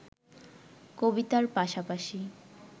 কবিতার পাশাপাশি